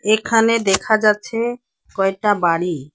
এখানে দেখা যাচ্ছে কয়টা বাড়ি।